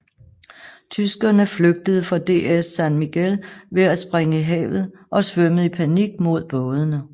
Tyskerne flygtede fra DS San Miguel ved at springe i havet og svømmede i panik mod bådene